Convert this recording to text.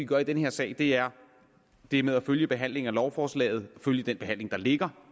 gøre i den her sag er det med at følge behandlingen af lovforslaget at følge den behandling der ligger